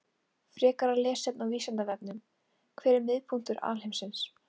Frekara lesefni á Vísindavefnum: Hver er miðpunktur alheimsins?